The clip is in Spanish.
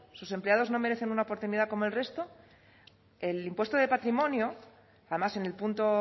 sus empleados no merecen una oportunidad como el resto el impuesto de patrimonio además en el punto